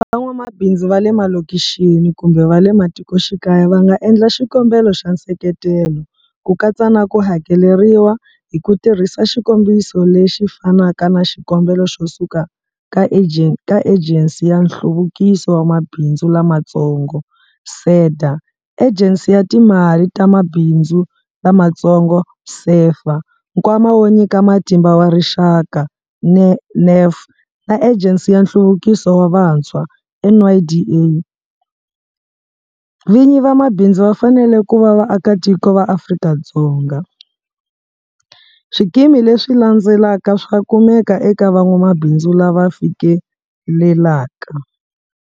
Van'wamabindzu va le malokixini kumbe va le matikoxikaya va nga endla xikombelo xa nseketelo, ku katsa na ku hakeleriwa, hi ku tirhisa xikombiso lexi fanaka na xikombelo xo suka ka Ejensi ya Nhluvukiso wa Mabindzu Lamatsongo, SEDA, Ejensi ya Timali ta Mabindzu Lamatsongo, SEFA, Nkwama wo Nyika Matimba wa Rixaka, NEF na Ejensi ya Nhluvukiso wa Vantshwa, NYDA. Vinyi va mabindzu va fanele ku va vaakatiko va Afrika-Dzonga. Swikimi leswi landzelaka swa kumeka eka van'wamabindzu lava fikelelaka.